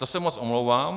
To se moc omlouvám.